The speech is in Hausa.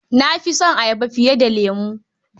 Na fi son ayaba fiye da lemo.